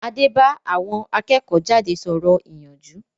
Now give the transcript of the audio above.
Adé bá àwọn akẹ́kọ̀-jáde sọ̀rọ̀ ìyànjú